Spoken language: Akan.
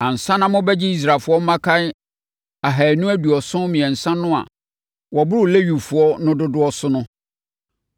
Ansa na mobɛgye Israelfoɔ mmakan ahanu aduɔson mmiɛnsa no a wɔboro Lewifoɔ no dodoɔ so no,